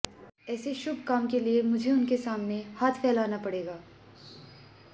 ऐसे शुभ काम के लिए मुझे उनके सामने हाथ फैलाना पड़ेगा